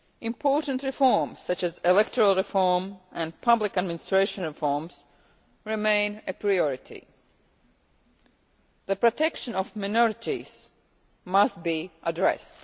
Important reforms, such as electoral reform and public administration reform, remain a priority. The protection of minorities must be addressed.